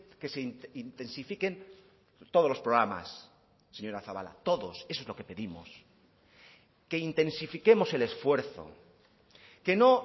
que se intensifiquen todos los programas señora zabala todos eso es lo que pedimos que intensifiquemos el esfuerzo que no